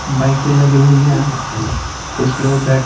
बाइकेें लगी हुई हैं कुछ लोग --